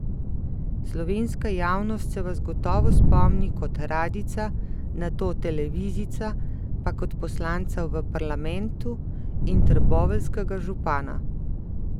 Slovenska javnost se vas gotovo spomni kot radijca, nato televizijca, pa kot poslanca v parlamentu in trboveljskega župana.